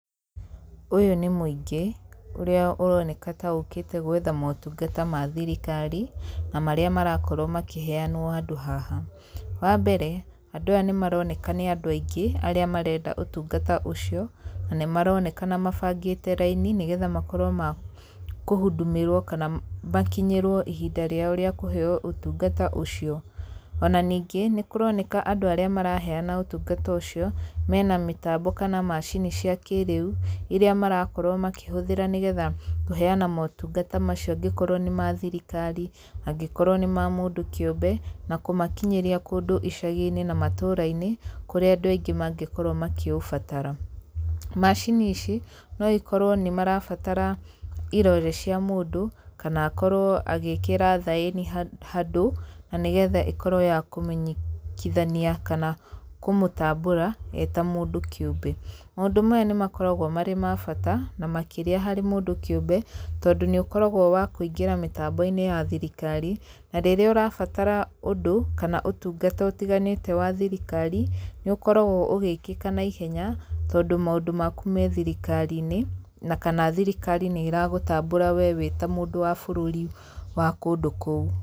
Ũyũ nĩ mũingĩ, ũrĩa ũroneka ta ũkĩte gwetha motungata ma thirikari, na marĩa marakorwo makĩheanwo handũ haha. Wa mbere, andũ aya nĩ maroneka nĩ andũ aingĩ, arĩa marenda ũtungata ũcio, na nĩ maronekana mabangĩte raini nĩgetha makorwo ma kũhũndũmĩrwo, kana makinyĩrwo ihinda rĩao rĩa kũheeo ũtungata ũcio. Ona ningĩ, nĩ kũroneka andũ arĩa maraheana ũtungata ũcio, mena mĩtambo kana macini cia kĩrĩu, irĩa marakorwo makĩhũthĩra nĩgetha kũheana motungata macio angĩkorwo nĩ ma thirikari, angĩkorwo nĩ ma mũndũ kĩũmbe, na kũmakinyĩria kũndũ icagi-inĩ na matũũra-inĩ, kũrĩa andũ aingĩ mangĩkorwo makĩũbatara. Macini ici, no ikorwo nĩ marabatara irore cia mũndũ, kana akorwo agĩĩkĩra thaĩni handũ, na nĩgetha ĩkorwo ya kũmenyekithania kana kũmũtambũra, ee ta mũndũ kĩũmbe. Maũndũ maya nĩ makoragwo marĩ ma bata, na makĩria harĩ mũndũ kĩũmbe, tondũ nĩ ũkoragwo wa kũingĩra mĩtambo-inĩ ya thirikari, na rĩrĩa ũrabatara ũndũ, kana ũtungata ũtiganĩte wa thirikari, nĩ ũkoragwo ũgĩkĩka naihenya, tondũ maũndũ maku me thirikari-inĩ, na kana thirikari nĩ ĩragũtambũra we wĩ ta mũndũ wa bũrũri wa kũndũ kũu.